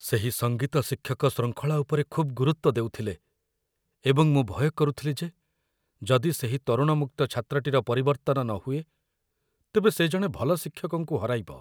ସେହି ସଙ୍ଗୀତ ଶିକ୍ଷକ ଶୃଙ୍ଖଳା ଉପରେ ଖୁବ୍ ଗୁରୁତ୍ୱ ଦେଉଥିଲେ, ଏବଂ ମୁଁ ଭୟ କରୁଥିଲି ଯେ ଯଦି ସେହି ତରୁଣ ମୁକ୍ତ ଛାତ୍ରଟିର ପରିବର୍ତ୍ତନ ନହୁଏ, ତେବେ ସେ ଜଣେ ଭଲ ଶିକ୍ଷକଙ୍କୁ ହରାଇବ